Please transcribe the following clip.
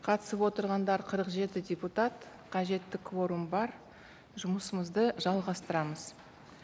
қатысып отырғандар қырық жеті депутат қажетті кворум бар жұмысымызды жалғастырамыз